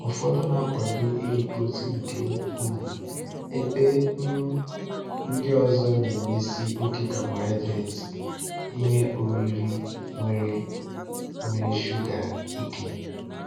Ụfọdụ na-akwado iri protein nke ukwuu, ebe um ndị ọzọ na-emesi oke carbohydrate (ihe oriri nwere nwere shuga) ike.